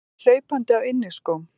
Kemur hlaupandi á inniskóm.